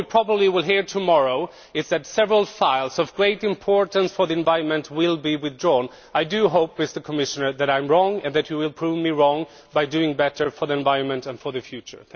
What we will probably hear tomorrow is that several items of great importance for the environment will be withdrawn. I do hope, Mr Commissioner, that I am wrong and that you will prove me wrong by doing better for the environment and for the future.